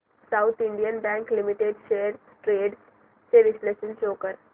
south Indian Bank Limited shares trends चे विश्लेषण show कर